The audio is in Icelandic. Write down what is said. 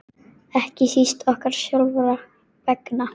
Ekki síst okkar sjálfra vegna.